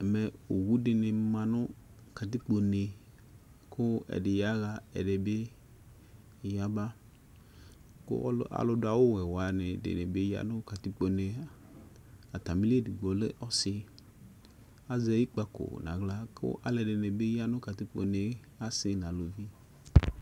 Ɛmɛ owu dɩnɩ ma nʋ katikpone kʋ ɛdɩ yaɣa, ɛdɩ bɩ yaba kʋ alʋdʋ awʋwɛ wanɩ dɩnɩ bɩ ya nʋ katikpone yɛ Atamɩli edigbo lɛ ɔsɩ Azɛ ikpǝko nʋ aɣla kʋ alʋɛdɩnɩ ya nʋ katikpone yɛ, asɩ nʋ aluvi